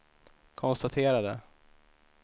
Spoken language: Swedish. konstaterade